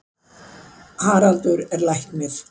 Haraldur er læknir.